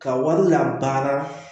Ka wari labara